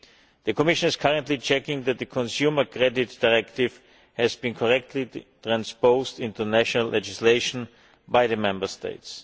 The Commission is currently checking that the Consumer Credit Directive has been correctly transposed into national legislation by the Member States.